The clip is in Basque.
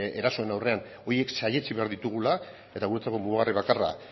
erasoen aurrean horiek saihestu behar ditugula eta guretzako mugarri bakarra